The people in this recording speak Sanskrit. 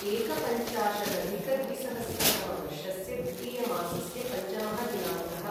एकपञ्चाशदधिकद्विसहस्रतमवर्षस्य द्वितीयमासस्य पञ्चमः दिनाङ्कः